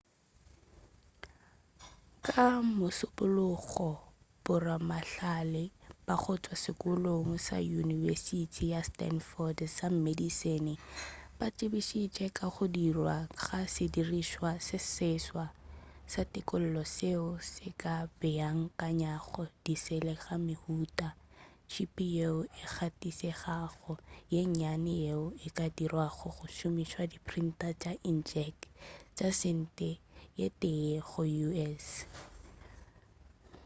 ka mošupulogo boramahlale ba go tšwa sekolong sa yunibesithi ya stanford sa medicine ba tsebišitše ka go dirwa ga sedirišwa se seswa sa tekolo seo se ka beakanyago disele ka mehuta chip yeo e gatišegago ye nnyane yeo e ka dirwago go šomišwa di printer tša inkjet tša sente ye tee go u.s